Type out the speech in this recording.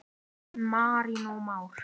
Marinó Már.